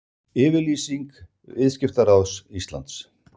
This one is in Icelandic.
Yfirlýsing Viðskiptaráðs Íslands